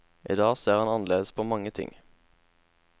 I dag ser han annerledes på mange ting.